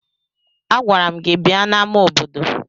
Agwara m gi bia n'ama obodo!